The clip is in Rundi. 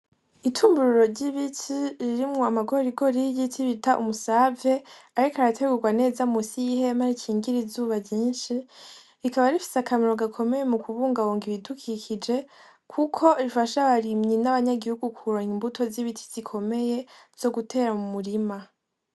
Itumbururo ry'ibiti ririmwo amagorigoriiy igiti bita umusavye, ariko arategurwa neza musi y'ihema rikingira izuba zyinshi rikaba rifise akamero gakomeye mu kubungabunga ibidukikije, kuko rifasha abarimyi n'abanyagihugu kuranya imbuto z'ibiti zikomeye zo gutera mu murima.